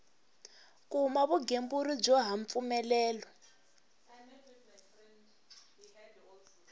kuma vugembuli byo ha mpfumelelo